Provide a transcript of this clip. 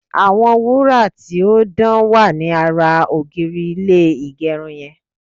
àwọn wura ti o dan wa ni ara ogiri ilé igerun yen